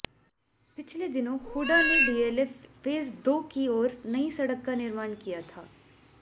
पिछले दिनों हूडा ने डीएलएफ फेज दो की ओर नई सड़क का निर्माण किया था